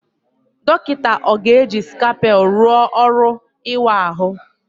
Dọkịta ọ ga-eji scalpel rụọ ọrụ ịwa ahụ?